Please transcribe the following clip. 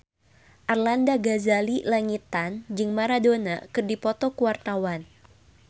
Arlanda Ghazali Langitan jeung Maradona keur dipoto ku wartawan